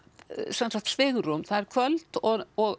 sem sagt svigrúm það er kvöld og og